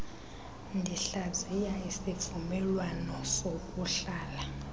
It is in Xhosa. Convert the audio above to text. ndihlaziya isivumelwano sokuhlala